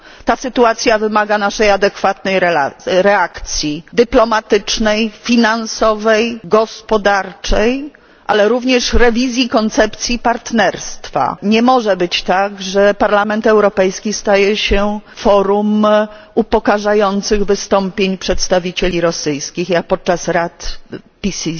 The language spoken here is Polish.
Ta sytuacja wymaga naszej adekwatnej reakcji dyplomatycznej, finansowej, gospodarczej, ale również rewizji koncepcji partnerstwa. Nie może być tak, że Parlament Europejski staje się forum upokarzających wystąpień przedstawicieli rosyjskich, jak podczas rad PCC.